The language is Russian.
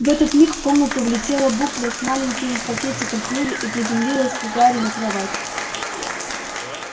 в этот миг в комнату влетела букля с маленьким пакетиком в клюве и приземлилась к гарри на кровать